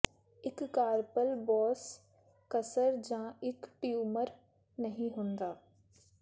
ਇੱਕ carpal boss ਕਸਰ ਜਾਂ ਇੱਕ ਟਿਊਮਰ ਨਹੀਂ ਹੁੰਦਾ